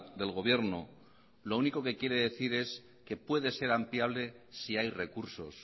del gobierno lo único que quiere decir es que puede ser ampliable si hay recursos